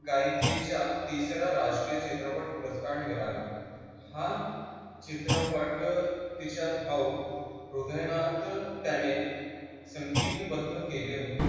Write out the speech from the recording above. गायिकेच्या तिसरा राष्ट्रीय चित्रपट पुरस्कार मिळाला. हा चित्रपट तिच्या भाऊ हृदयनाथ त्याने संगीतबद्ध केले होते.